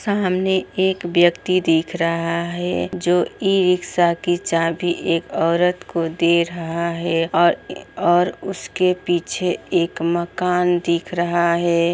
सामने एक व्यक्ति दिख रहा है जो ई रिक्शा की चाभी एक औरत को दे रहा है और और उसके पीछे एक मकान दिख रहा है।